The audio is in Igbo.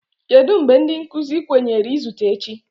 Kedu mgbe ndị nkuzi kwenyere izute echi?